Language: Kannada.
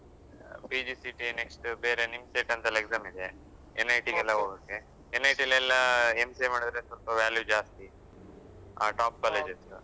PGCET next ಬೇರೆ NIMCET ಅಂತೆಲ್ಲ exam ಇದೆ NET ಗೆಲ್ಲ ಹೋಗೋಕ್ಕೆ NET ಲೆಲ್ಲ MCA ಮಾಡಿದ್ರೆ ಸ್ವಲ್ಪ value ಜಾಸ್ತಿ. ಆ top colleges .